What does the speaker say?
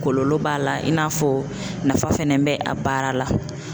Kɔlɔlɔ b'a la i n'a fɔ nafa fɛnɛ bɛ a baara la.